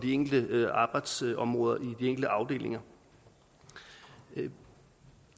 enkelte arbejdsområder i de enkelte afdelinger det